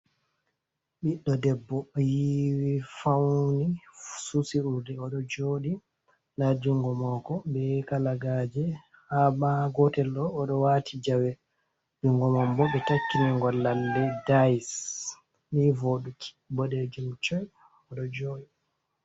Ɓiɗɗo debbo yiwi fauni, susi urdi, oɗo joɗi nda jungo mako be kalagaje, ha ma gotel ɗo oɗo wati jawe jungo man bo ɓe takkini ngo llalle dais ni voduki boɗejum coi oɗo joɗi.